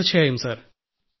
തീർച്ചയായും സർ